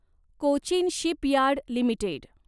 Cochin shipyard limited